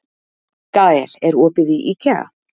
Gael, er opið í IKEA?